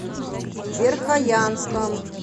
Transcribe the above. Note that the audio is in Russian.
верхоянском